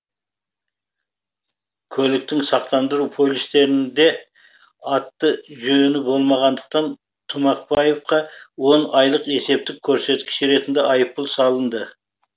көліктің сақтандыру полюстерінде аты жөні болмағандықтан тұмақбаевқа он айлық есептік көрсеткіш ретінде айыппұл салынды